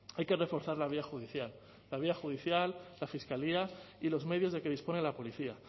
hay que reforzar la vía judicial la vía judicial la fiscalía y los medios de que dispone la policía